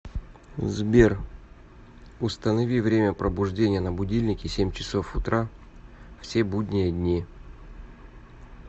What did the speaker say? сбер установи время пробуждения на будильнике семь часов утра все будние дни